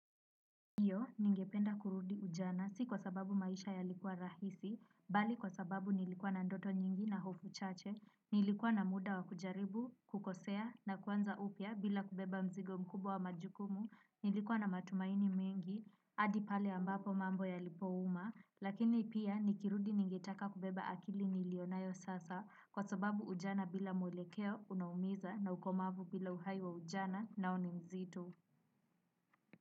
Ndiyo, ningependa kurudi ujana, si kwa sababu maisha yalikuwa rahisi, bali kwa sababu nilikuwa na ndoto nyingi na hofu chache, nilikuwa na muda wakujaribu, kukosea, na kwanza upya bila kubeba mzigo mkubwa wa majukumu, nilikuwa na matumaini mengi, hadi pale ambapo mambo yalipouma lakini pia nikirudi ningependa kubeba akili niliyo nayo sasa kwa sababu ujana bila mwelekeo unaumiza na ukomavu bila uhai wa ujana nao ni uzito.